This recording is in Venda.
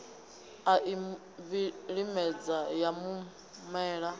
a i vhilimedza ya humela